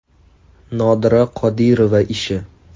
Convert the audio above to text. Nodira Qodirova ishi.